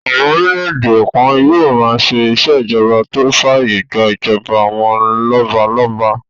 Àwọn orílẹ̀-èdè kan yóò máa ṣe ìṣèjọba tó fàyè gbà ìjọba àwọn lọ́balọ́ba